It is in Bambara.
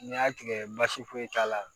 N'i y'a tigɛ basi foyi t'a la